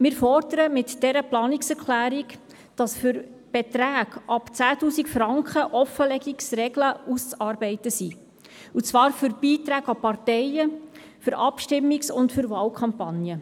Wir fordern mit dieser Planungserklärung, dass für Beträge ab 10 000 Franken Offenlegungsregeln auszuarbeiten sind, und zwar für Beiträge an Parteien sowie für Abstimmungs- und für Wahlkampagnen.